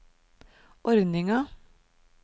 ordninga